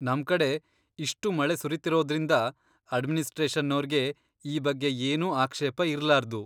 ನಮ್ಕಡೆ ಇಷ್ಟು ಮಳೆ ಸುರೀತಿರೋದ್ರಿಂದ ಅಡ್ಮಿನಿಸ್ಟ್ರೇಷನ್ನೋರ್ಗೆ ಈ ಬಗ್ಗೆ ಏನೂ ಆಕ್ಷೇಪ ಇರ್ಲಾರ್ದು.